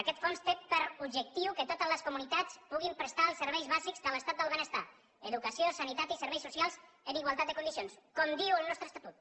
aquest fons té per objectiu que totes les comunitats puguin prestar els serveis bàsics de l’estat del benestar educació sanitat i serveis socials en igualtat de condicions com diu el nostre estatut